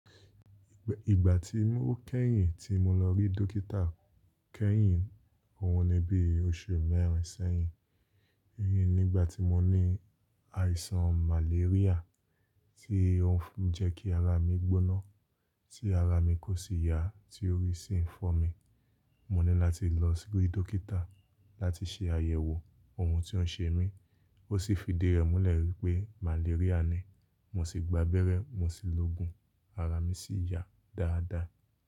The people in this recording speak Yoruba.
Ìgbà tí mó kẹ́yìn tí mo lọ rí dókítà kẹ́yìn, òhun ní bí oṣù meẹ́rin sẹ́yìn. Rí nígbà tí mo ní àìsàn màléríà, tí ó fi ń jẹ́ kí ara mi gbóná, tí ara mi kò sì yà, tí orí sì ń fọ́ mi. Mo ní láti lọ síle dókítà láti ṣe àyẹ̀wò ohun ti ó ń ṣe mí. Ó sì fi ìdí rẹ̀ múlẹ̀ wípé màléríà ni. Mo sì gba abẹ́rẹ́, mo sì lo òògùn, ara mi sì yà dáadáa.